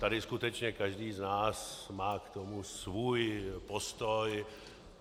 Tady skutečně každý z nás má k tomu svůj postoj.